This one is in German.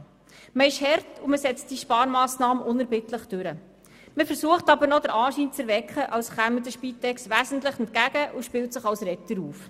Man bleibt hart und setzt diese Sparmassnahme unerbittlich durch, doch versucht man den Anschein zu erwecken, als ob man der Spitex wesentlich entgegenkomme und spielt sich als Retter auf.